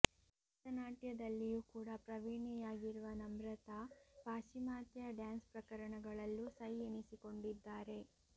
ಭರತನಾಟ್ಯದಲ್ಲಿಯೂ ಕೂಡ ಪ್ರವೀಣೆಯಾಗಿರುವ ನಮ್ರತಾ ಪಾಶ್ಚಿಮಾತ್ಯ ಡ್ಯಾನ್ಸ್ ಪ್ರಕಾರಗಳಲ್ಲೂ ಸೈ ಎನಿಸಿಕೊಂಡಿದ್ದಾರೆ